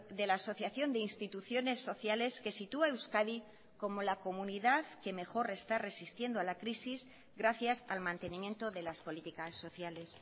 de la asociación de instituciones sociales que sitúa a euskadi como la comunidad que mejor está resistiendo a la crisis gracias al mantenimiento de las políticas sociales